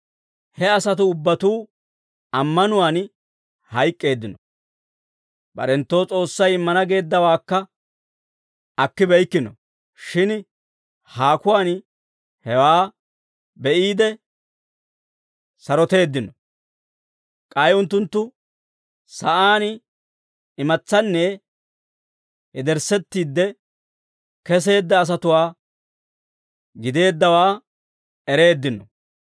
He asatuu ubbatuu ammanuwaan hayk'k'eeddino; barenttoo S'oossay immana geeddawaakka akkibeykkino; shin haakuwaan hewaa be'iide, saroteeddino. K'ay unttunttu sa'aan imatsanne yederissettiide keseedda asatuwaa gideeddawaa ereeddino.